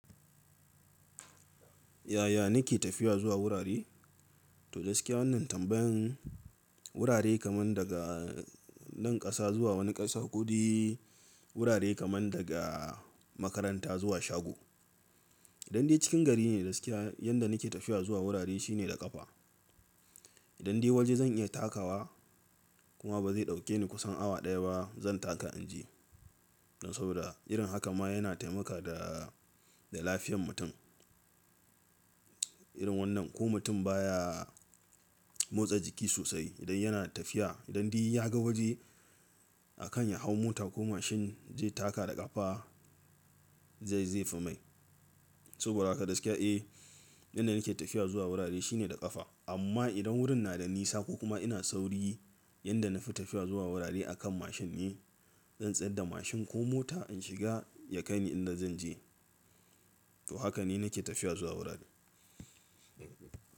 Yaya nake tafiya zuwa wurare? To gaskiya wannan tambayan wurare kaman daga nan ƙasa zuwa wani ƙasar kodai, wurare kaman daga makaranta zuwa shago. Idan dai cikin gari ne gaskiya yanda nake tafiya zuwa wurare shine da ƙafa. Idan dai waje zan iya takawa kuma ba zai ɗauke ni kusan awa ɗaya ba zan taka in je. Saboda irin hakan ma yana taimakawa ga lafiyan mutum. Irin wannan ko mutum baya motsa jiki sosai idan yana tafiya. Idan dai ya ga waje akan ya hau mota ko mashin zai taka da ƙafa zai zai fi mai. Saboda haka gaskiya eh yanda nake tafiya zuwa wurare shine da ƙafa. Amma idan wurin na da nisa ko kuma ina sauri yanda na fi tafiya zuwa wurare akan mashin ne. Zan tsayar da mashin ko mota in shiga ya kai ni inda zan je. To haka ne nake tafiya zuwa wurare.